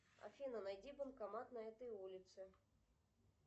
афина найди банкомат на этой улице